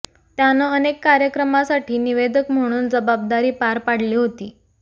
त्यानं अनेक कार्यक्रमासाठी निवेदक म्हणून जबाबदारी पार पाडली होती